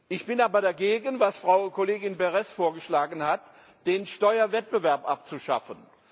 Ich bin aber dagegen, wie Frau Kollegin Berès es vorgeschlagen hat, den Steuerwettbewerb abzuschaffen.